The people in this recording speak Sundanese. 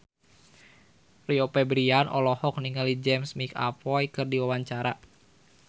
Rio Febrian olohok ningali James McAvoy keur diwawancara